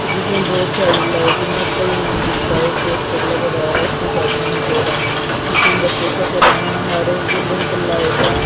जिसमें बहुत सारी लाइटिंग है कई मंजिल का एक पोस्टर लग रहा है उसके साथ में एक ओर है जिसमें बच्चे हर एक बिल्डिंग पर लाइट है।